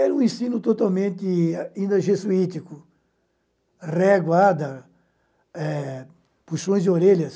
Era um ensino totalmente ainda jesuítico, réguada, eh puxões de orelhas.